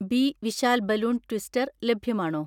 B Vishal balloon twister ലഭ്യമാണോ?